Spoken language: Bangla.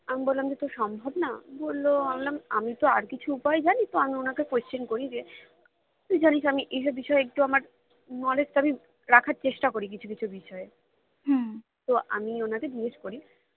আমি বললাম যে এটা সম্ভব না বললো আমি বললাম আমি তো আর কিছু উপায় জানি তো আমি ওনাকে question করি যে তুই তো জানিস যে আমি এইসব বিষয়ে একটু আমার knowledge টা আমি রাখার চেষ্টা করি কিছু কিছু বিষয়ে তো আমি ওনাকে জিজ্ঞেস করি